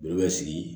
Joli bɛ sigi